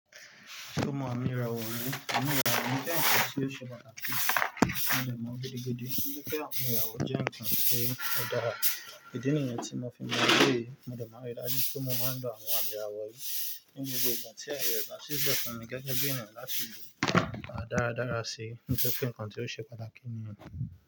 Mo mọ ami irawo mi, ami irawọ̀ mi jẹ́ ǹkan tí ó ṣe pàtàkì mo de mo gidi gidi, wipe ami irawọ jẹ́ ǹkan tí ó dára. Ìdí nìyẹn tí mo fi mọ̀ pé mo de maa n ri dájú pé mo máa ń lo àwọn ami irawọ̀ yí ní gbogbo ìgbà tí aaye rẹ̀ bà sílẹ̀ fún mi gẹ́gẹ́ bí ènìyàn láti lọ̀ pa dára dára sí nítorí pé ǹkan tí ó ṣe pàtàkì níyẹn.